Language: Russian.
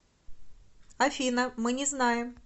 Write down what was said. афина мы не знаем